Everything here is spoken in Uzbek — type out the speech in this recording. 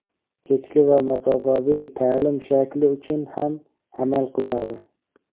kechki va masofaviy taʼlim shakli uchun ham amal qiladi.